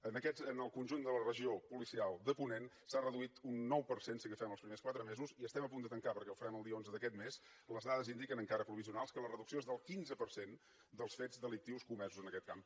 en el conjunt de la regió policial de ponent s’ha reduït un nou per cent si agafem els primers quatre mesos i estem a punt de tancar perquè ho farem el dia onze d’aquest mes les dades indiquen encara provisionals que la reducció és del quinze per cent dels fets delictius comesos en aquest camp